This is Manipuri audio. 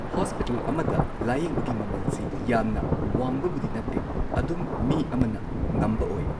ꯍꯣꯁꯄꯤꯇꯥꯜ ꯑꯃꯗ ꯂꯥꯌꯦꯡꯕꯒꯤ ꯃꯃꯜꯁꯤ ꯌꯥꯝꯅ ꯋꯥꯡꯕꯕꯨꯗꯤ ꯅꯠꯇꯦ ꯑꯗꯨꯝ ꯃꯤ ꯑꯃꯅ ꯉꯝꯕ ꯑꯣꯏ